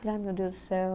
Falei, ai meu Deus do céu.